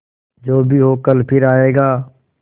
जो भी हो कल फिर आएगा